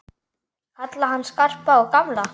Kalla hann Skarpa og gamla!